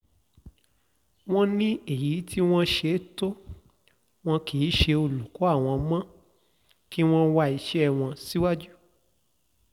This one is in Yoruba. wọ́n ní èyí tí wọ́n ṣe tó wọn kì í ṣe olùkọ́ àwọn mọ́ kí wọ́n wá iṣẹ́ wọn síwájú